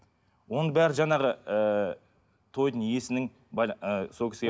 оның бәрі жаңағы ыыы тойдың иесінің ы сол кісіге